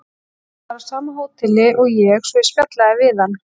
Hann var á sama hóteli og ég svo ég spjallaði við hann.